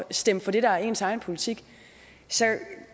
stemme for det der er ens egen politik så